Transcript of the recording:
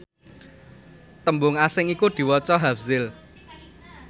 tembung asing iku diwaca hafzil